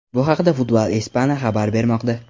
Bu haqda Football Espana xabar bermoqda.